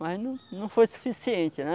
Mas não não foi suficiente, né?